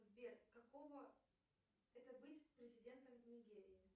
сбер какого это быть президентом нигерии